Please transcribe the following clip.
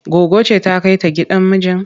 Goggo ce za ta kai ta gidan mijin?